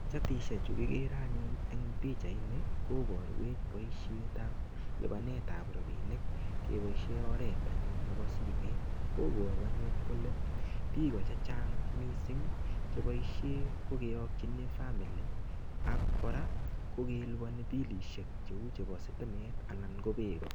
Chatisiechu kigere anyun eng pichaini koboruech boisiet ab lubanet ab rapinik keboisien oret anyun nebo simeet. Koboru anyun kole biiko chechang mising cheboisie kekochini famili ak kora ko kelubani bilisiek cheu chebo sitimet anan ko beek.